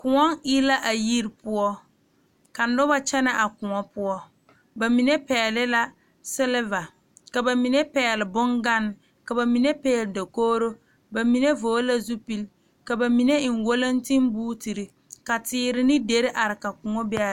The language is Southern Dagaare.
Koɔ e la a yiri poɔ ka noba kyɛnɛ a koɔ poɔ ba mine pɛgle la siliva ka ba mine pɛgle bongane ka ba mine pɛgle dakogro ba mine vɔgle la zupili ka ba mine eŋ walantenbootere ka teere ne deri are ka koɔ be a.